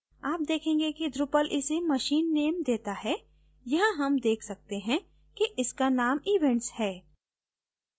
आप देखेंगे कि drupal इसे machine name देता है यहाँ हम देख सकते हैं कि इसका named events है